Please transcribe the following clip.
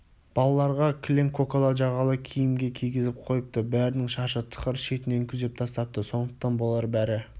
балаларға кілең көкала жағалы киімге кигізіп қойыпты бәрінің шашы тықыр шетінен күзеп тастапты сондықтан болар бәрі